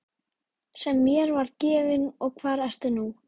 Sem mér var gefinn og hvar ertu nú.